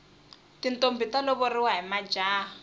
tintombhi ta lovoriwa hi majaha